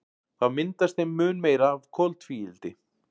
Þá myndast þeim mun meira af koltvíildi.